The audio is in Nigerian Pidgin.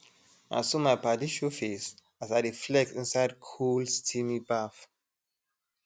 na so my padi show face as i dey flex inside cool steamy baff